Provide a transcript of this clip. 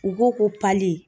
U ko ko pali.